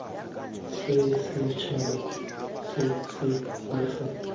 sa setšhaba se se amegang